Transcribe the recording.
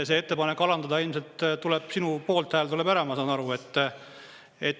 See ettepanek alandada, ilmselt sinu poolthääl tuleb ära, ma saan aru.